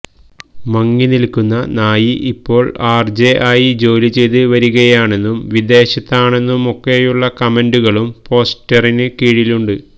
മങ്ങി നില്ക്കുന്ന നായി ഇപ്പോള് ആര് ജെ ആയി ജോലി ചെയ്ത് വരികയാണെന്നും വിദേശത്താണെന്നുമൊക്കെയുള്ള കമന്റുകളും പോസ്റ്റിന് കീഴിലുണ്ട്